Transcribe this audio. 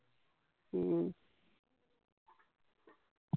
ਹਮ